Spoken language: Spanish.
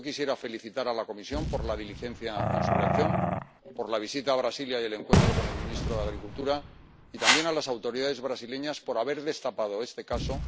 Yo quisiera felicitar a la Comisión por la diligencia en su reacción, por la visita a Brasilia y el encuentro con el ministro de Agricultura, y también a las autoridades brasileñas por haber destapado este caso.